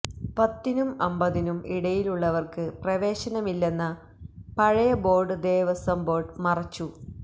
പത്തിനും അമ്പതിനും ഇടയിലുള്ളവര്ക്ക് പ്രവേശനമില്ലെന്ന പഴയ ബോര്ഡ് ദേവശ്വം ബോര്ഡ് മറച്ചു